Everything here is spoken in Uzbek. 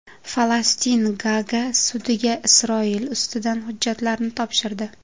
Falastin Gaaga sudiga Isroil ustidan hujjatlarni topshirdi.